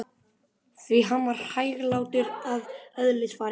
Því hann var hæglátur að eðlisfari.